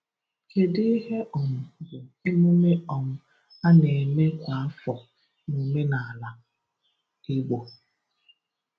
Kedu ihe um bụ emume um a na-eme kwa afọ n’omenala Igbo?